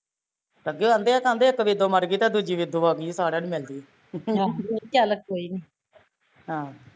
ਆਗੈ ਕਹਣਦੇ ਆ ਕਹਿੰਦੇ ਇੱਕ ਵੇਦੋਂ ਮਰਗੀ ਤੇ ਦੂਜੀ ਵੇਦੋਂ ਆ ਗਈ ਐ ਸਾਰਿਆ ਨੂੰ ਮਿਲਦੀ ਐ